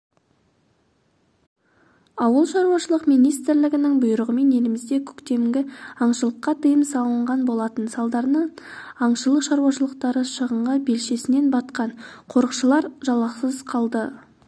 ауыл шаруашылығы министрлігінің бұйрығымен елімізде көктемгі аңшылыққа тыйым салынған болатын салдарынан аңшылық шаруашылықтары шығынға белшесінен батқан қорықшылар жалақысыз қалды